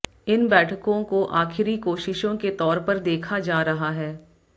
इन बैठकों को आखिरी कोशिशों के तौर पर देखा जा रहा है